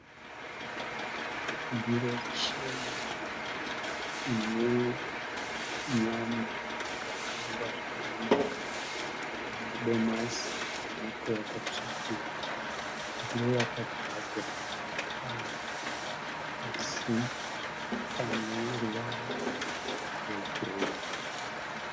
Ndiro chena ine nyama yakakangwa zvakanaka ine madomasi nemuto wakatsvukirira. Ndiro yakagadzwa pasi pane ruvara rwegireyi.